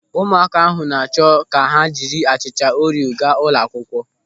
Ụmụaka ahụ na-achọ ka ha jiri achịcha Orio gaa ụlọ akwụkwọ.